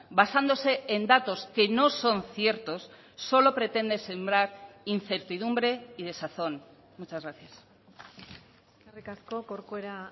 basándose en datos que no son ciertos solo pretende sembrar incertidumbre y desazón muchas gracias eskerrik asko corcuera